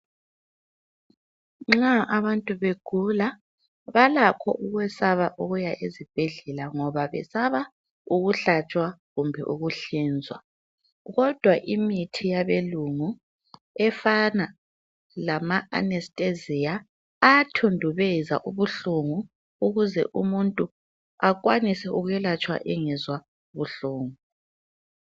Nxa abantu begula balakho ukwesaba ukuya ezibhedlela ngoba besaba ukuhlatshwa kumbe ukuhlinzwa kodwa imithi yabelungu efana lamaAnesthesia ayathundubeza ubuhlungu ukuze umuntu akwanise ukwelatshwa engezwa ubuhlungu.